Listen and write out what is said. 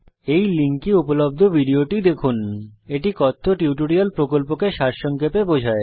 এই লিঙ্কে উপলব্ধ ভিডিওটি দেখুন httpspokentutorialorgWhat is a Spoken Tutorial এটি কথ্য টিউটোরিয়াল প্রকল্পকে সারসংক্ষেপে বোঝায়